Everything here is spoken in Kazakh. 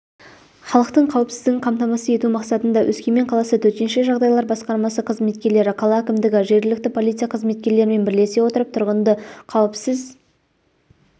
халықтың қауіпсіздігін қамтамасыз ету мақсатында өскемен қаласы төтенше жағдайлар басқармасы қызметкерлері қала әкімдігі жергілікті полиция қызметкерлерімен бірлесе отырып тұрғынды қауіпсіз